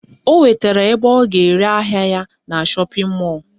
O nwetara ebe ọ ga-ere ahịa ya na shọpịn mọlụ